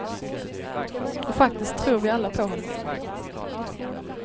Och faktiskt tror vi alla på honom.